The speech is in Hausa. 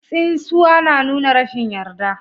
Tsinswa na nuna rashin yarda.